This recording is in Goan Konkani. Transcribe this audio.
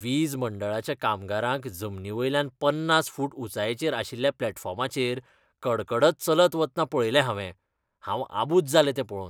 वीज मंडळाच्या कामगारांक जमनी वयल्यान पन्नास फूट उंचायेचेर आशिल्ल्या प्लॅटफॉर्माचेर कडकडत चलत वतना पळयले हांवें. हांव आबुज जालें तें पळोवन.